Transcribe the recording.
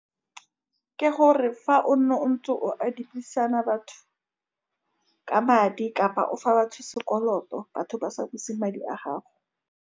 Ke gore, fa o nne o ntse o adimisana batho ka madi kapa o fa batho sekoloto, batho ba sa buse madi a gago.